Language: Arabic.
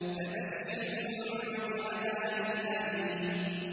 فَبَشِّرْهُم بِعَذَابٍ أَلِيمٍ